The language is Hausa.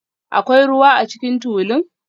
Akwai ruwa a cikin tulun?